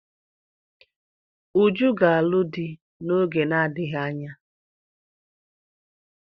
Uju ga-alụ di n'oge na-adịghị anya.